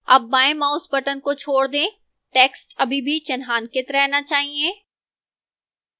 अब बाएं mouse button को छोड़ दें टेक्स्ट अभी भी चिन्हांकित रहना चाहिए